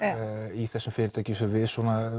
í þessum fyrirtækjum